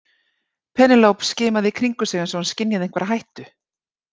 Penélope skimaði í kringum sig eins og hún skynjaði einhverja hættu.